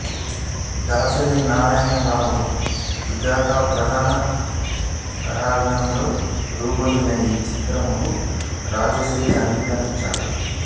దాసరి నారాయణరావు సుజాత ప్రధాన తారాగణంగా రూపొందిన ఈ సినిమాకు రాజశ్రీ సంగీతాన్నందించాడు